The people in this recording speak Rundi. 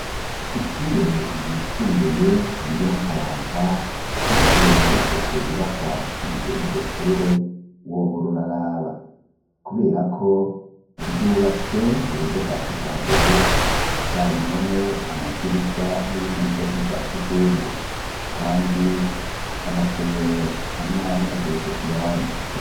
Ishure ryisumbuye ryo mu kayanza iyo urengutse ku nyubaka zigize iryo shure wohora uraraba, kubera ko ryubatswe mu buryo bwa kija mbere zabimpome amadirisha n'ibindi vyose ni vya kizungu, kandi ama umero amwamwe ageretse ku yandi.